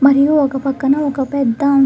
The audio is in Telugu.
మరియు ఒక పక్కన ఒక పెద్ద --